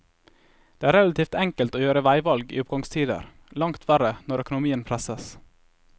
Det er relativt enkelt å gjøre veivalg i oppgangstider, langt verre når økonomien presses.